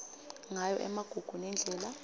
ngayo emagugu nendlela